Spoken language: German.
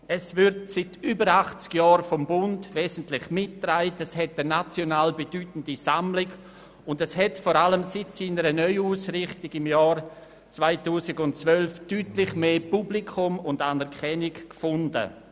Es wird seit über 80 Jahren vom Bund wesentlich mitgetragen, es verfügt über eine national bedeutende Sammlung, und es hat vor allem seit der Neuausrichtung im Jahr 2012 deutlich mehr Publikum und Anerkennung gefunden.